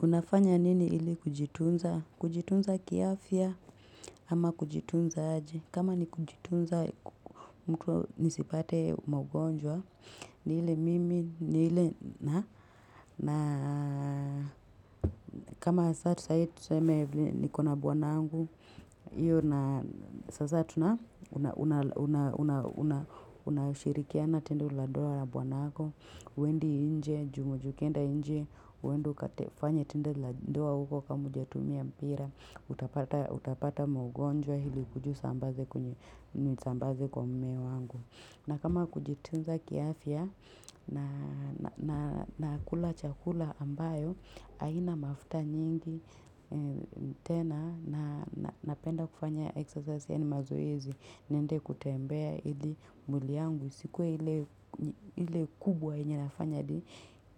Unafanya nini hili kujitunza? Kujitunza kiafia ama kujitunza aje kama ni kujitunza mtu nisipate maugonjwa. Ni ile mimi, ni ile na na kama saa tu sahi tuseme vile nikona bwanangu Iyo na sasa tuna unashirikiana tendo la doa na bwanako huendi inje, ju unajua ukienda inje, uende ukate fanya tendo la doa uko kama hujatumia mpira utapata Utapata maugonjwa hili ukuje usambaze kwa mume wangu na kama kujitunza kiafia nakula chakula ambayo haina mafuta nyingi tena na napenda kufanya exercise yaani mazoezi niende kutembea ili mwili yangu isikuwe ile ile kubwa yenye nafanya adi